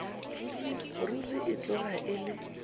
ruri e tloga e le